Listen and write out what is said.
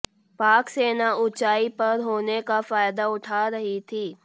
पाक सेना ऊंचाई पर होने का फायदा उठा रही थी